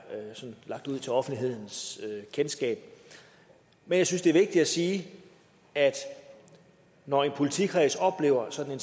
lagt ud til offentlighedens kendskab men jeg synes det er vigtigt at sige at når en politikreds oplever sådan